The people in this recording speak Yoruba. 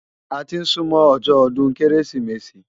Áti n súmò òjò òdún Kérésimési